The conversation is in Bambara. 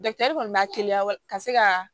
kɔni b'a teliya ka se ka